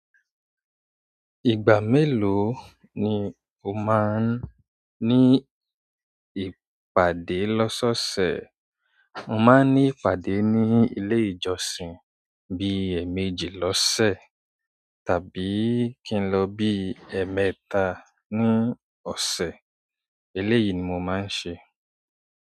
Ìgbà melo ni o ma n ni ìpàdé lọsọsẹ. Mo máa ń ní ìpàdé ní ilé ìjọsìn bí ẹ̀ẹ̀méjì lọ́sẹ̀ tàbí kí n lọ bí ẹ̀ẹ̀mẹ́ta ní ọ̀sẹ̀. Eléyìí ni mo máa ń ṣe.